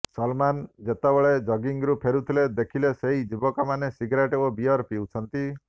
ସଲମାନ ଯେତେବଳେ ଜଗିଂରୁ ଫେରୁଥିଲେ ଦେଖିଲେ ସେହି ଯୁବକମାନେ ସିଗୋରେଟ୍ ଓ ବିୟର ପିଉଛନ୍ତି